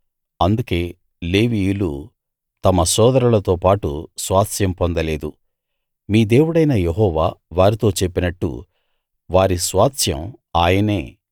అందుకే లేవీయులు తమ సోదరులతో పాటు స్వాస్థ్యం పొందలేదు మీ దేవుడైన యెహోవా వారితో చెప్పినట్టు వారి స్వాస్థ్యం ఆయనే